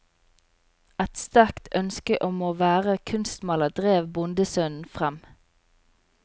Et sterkt ønske om å være kunstmaler drev bondesønnen frem.